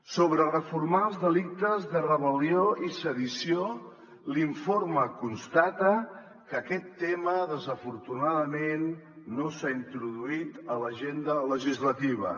sobre reformar els delictes de rebel·lió i sedició l’informe constata que aquest tema desafortunadament no s’ha introduït a l’agenda legislativa